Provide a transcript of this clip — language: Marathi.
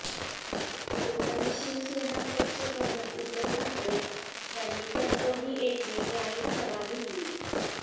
बुधवारी शिवसेना पक्षप्रमुख उद्धव ठाकरे यांनी कणकवली येथे जाहीर सभा घेतली